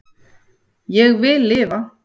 Ég vil lifa